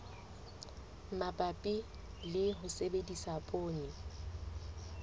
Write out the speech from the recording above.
mabapi le ho sebedisa poone